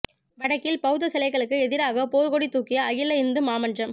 வடக்கில் பௌத்த சிலைகளுக்கு எதிராகப் போர்க் கொடி தூக்கிய அகில இந்து மாமன்றம்